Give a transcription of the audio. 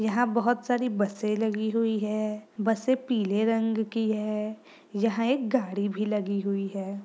यहाँ बहुत सारी बसे लगी हुई है बसे पीले रंग की है| यहाँ एक गाड़ी भी लगी हुई है।